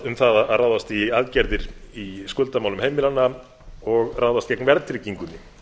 um að ráðast í aðgerðir í skuldamálum heimilanna og ráðast gegn verðtryggingunni